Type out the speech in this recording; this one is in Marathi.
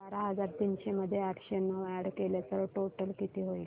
बारा हजार तीनशे मध्ये आठशे नऊ अॅड केले तर टोटल किती होईल